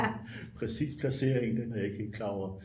præcis placering den er jeg ikke helt klar over